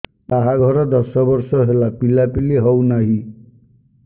ବାହାଘର ଦଶ ବର୍ଷ ହେଲା ପିଲାପିଲି ହଉନାହି